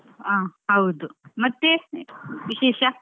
ಆ ಹೌದು ಮತ್ತೆ ವಿಶೇಷ?